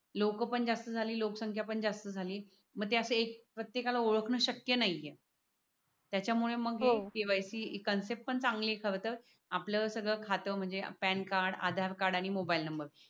लोक पण जास्त झाली लोकसंख्या पण जास्त झाली मग त्याचे प्रत्येकाला ओळखणे शक्य नाहीये त्याच्यामुळे KYC आपल्याला सगळं खातो म्हणजे पॅन कार्ड आधार कार्ड आणि मोबाईल नंबर